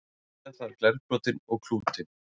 setja þarf glerbrotin og klútinn